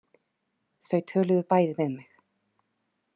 Þau töluðu bæði við mig.